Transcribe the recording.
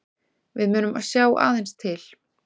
Við munum sjá aðeins til